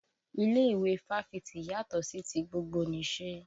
Ilé ìwé Fáfitì yàtọ́ sí ti gbogbonìse